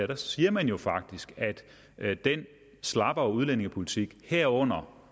der siger man jo faktisk at den slappere udlændingepolitik herunder